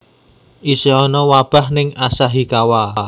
Isih ono wabah ning Asahikawa